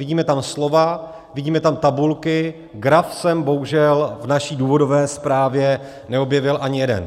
Vidíme tam slova, vidíme tam tabulky, graf jsem bohužel v naší důvodové zprávě neobjevil ani jeden.